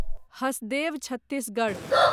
Hasdeo Chhattisgarh